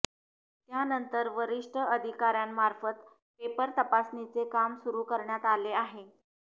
त्यानंतर वरिष्ठ अधिकार्यांमार्फत पेपर तपासणीचे काम सुरु करण्यात आले आहे